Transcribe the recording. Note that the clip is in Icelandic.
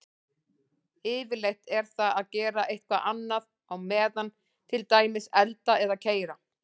Yfirleitt er það að gera eitthvað annað á meðan, til dæmis elda eða keyra.